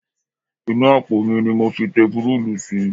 Inú àpò ni mo fi tepurúùlù sí